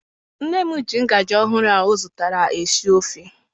Nne m ji ngajị ọhụụ ahụ ọ zụtara esi ofe.